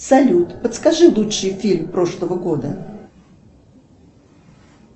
салют подскажи лучший фильм прошлого года